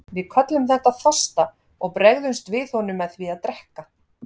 Við köllum þetta þorsta og bregðumst við honum með því að drekka.